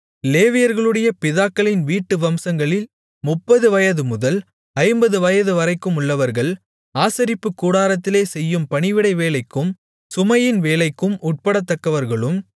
லேவியர்களுடைய பிதாக்களின் வீட்டு வம்சங்களில் முப்பது வயதுமுதல் ஐம்பது வயதுவரைக்குமுள்ளவர்கள் ஆசரிப்புக் கூடாரத்திலே செய்யும் பணிவிடை வேலைக்கும் சுமையின் வேலைக்கும் உட்படத்தக்கவர்களும்